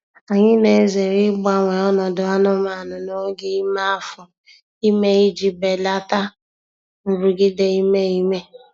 Anyị na-ezere ịgbanwe ọnọdụ anụmanụ n'oge ime afọ ime iji belata nrụgide ime ime.